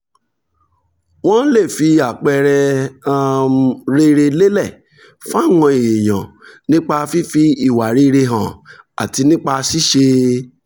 wọ́n lè fi àpẹẹrẹ um rere lélẹ̀ fáwọn èèyàn nípa fífi ìwà rere hàn àti nípa ṣíṣe